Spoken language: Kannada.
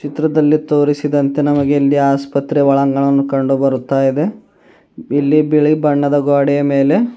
ಚಿತ್ರದಲ್ಲಿ ತೋರಿಸಿದಂತೆ ನಮಗೆ ಇಲ್ಲಿ ಆಸ್ಪತ್ರೆ ಒಳಾಂಗಣವನ್ನುಕಂಡುಬರುತ್ತಾಯಿದೆ ಇಲ್ಲಿ ಬಿಳಿ ಬಣ್ಣದ ಗ್ವಾಡೆಯ ಮೇಲೆ --